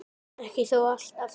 Ekki þó alltaf.